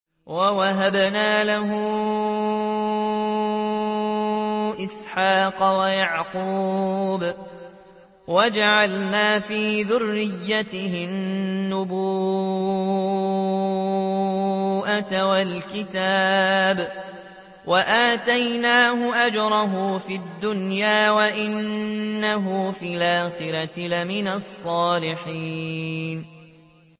وَوَهَبْنَا لَهُ إِسْحَاقَ وَيَعْقُوبَ وَجَعَلْنَا فِي ذُرِّيَّتِهِ النُّبُوَّةَ وَالْكِتَابَ وَآتَيْنَاهُ أَجْرَهُ فِي الدُّنْيَا ۖ وَإِنَّهُ فِي الْآخِرَةِ لَمِنَ الصَّالِحِينَ